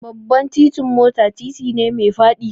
Babban titin mota titi ne mai faɗi